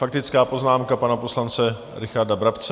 Faktická poznámka pana poslance Richarda Brabce.